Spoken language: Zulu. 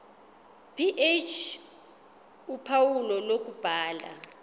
ph uphawu lokubhala